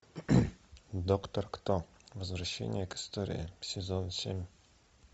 доктор кто возвращение к истории сезон семь